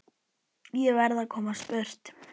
Ég verð að komast burt.